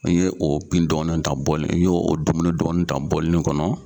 N ye o pin dɔɔni ta bɔli n ye o dumuni dɔɔni ta bɔlinin kɔnɔ